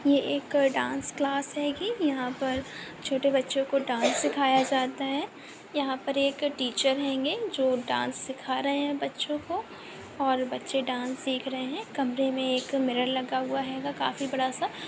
यह एक dance class होगी। यहाँ पर छोटे बच्चों को डांस सिखाया जाता है। यहां पर एक टीचर होंगे जो डांस सिखा रहे हैं बच्चों को और बच्चे डांस सीख रहें हैं। कमरे मे एक मिरर लगा हुआ होगा काफी बड़ा सा।